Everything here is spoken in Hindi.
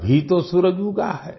अभी तो सूरज उगा है